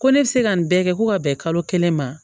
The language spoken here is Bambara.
Ko ne bɛ se ka nin bɛɛ kɛ ko ka bɛn kalo kelen ma